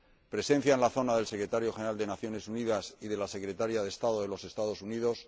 presencia en la zona del Secretario General de las Naciones Unidas y de la Secretaria de Estado de los Estados Unidos